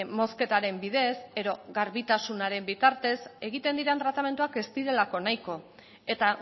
mozketaren bidez edo garbitasunaren bitartez egiten diren tratamenduak ez direlako nahiko eta